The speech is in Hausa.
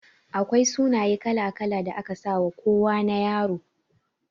Akwai sunaye kala-kala da ake sawa kowana Ƴaro.